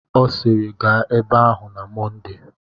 Ọ sịịrị, gaa ebe ahụ na Mọnde.